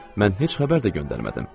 Mən heç xəbər də göndərmədim.